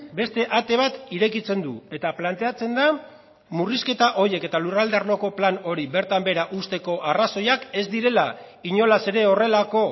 beste ate bat irekitzen du eta planteatzen da murrizketa horiek eta lurralde arloko plan hori bertan behera uzteko arrazoiak ez direla inolaz ere horrelako